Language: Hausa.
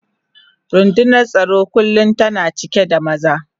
Rundunar tsaro kullum tana cika da maza.